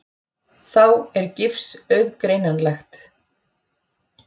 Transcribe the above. Þá er gifs auðgreinanlegt.